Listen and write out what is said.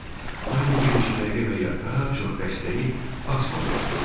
Anni bir neçə dəqiqə və ya daha çox dəstəyi asmadan oturdu.